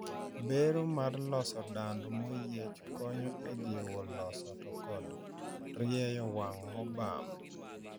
Bero mar loso dand maoyiech konyo ejiwo loso to kod rieyo wang` mobam.